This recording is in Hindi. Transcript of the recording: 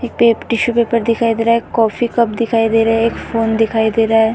एक टिश्यू पेपर दिखाई दे रहा है। कॉफी कप दिखाई दे रहा है। एक फोन दिखाई दे रहा है।